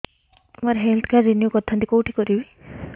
ମୋର health card renew କରିଥାନ୍ତି କୋଉଠି କରିବି